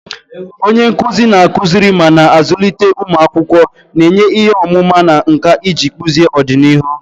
Onye nkuzi na-akụziri ma na-azụlite ụmụ akwụkwọ, na-enye ihe ọmụma na nkà iji kpụzie ọdịnihu.